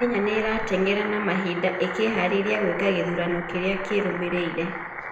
Kenya nĩ ĩrateng'era na mahinda ĩkĩeharĩria gũĩka gĩthurano kĩrĩa kĩrũmĩrĩire.